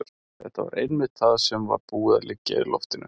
Þetta var einmitt það sem var búið að liggja í loftinu.